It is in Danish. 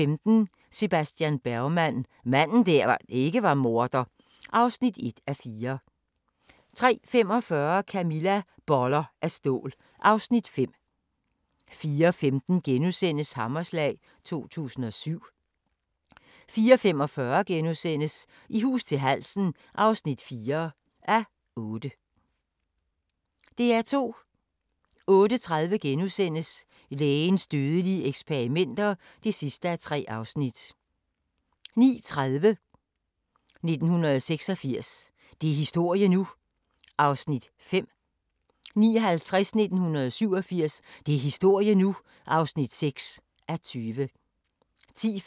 15:00: Familien fra Lærkevej (2:6)* 15:30: Familien fra Lærkevej (3:6) 16:00: Felix og vagabonden (7:8)* 16:30: Felix og vagabonden (8:8)* 16:55: Den usynlige natur (3:3) 17:50: Den amerikanske mafia: En voksende trussel (4:8)* 18:30: De vilde 60'ere: Sex, drugs & rock'n'roll 1960-69 (7:10) 19:10: Tidsmaskinen 20:00: Inglourious Basterds 23:00: Tyskland: Den store nabo